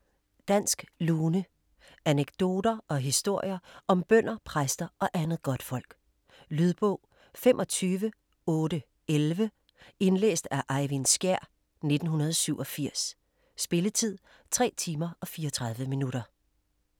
Dansk lune Anekdoter og historier om bønder, præster og andet godtfolk. Lydbog 25811 Indlæst af Eyvind Skjær, 1987. Spilletid: 3 timer, 34 minutter.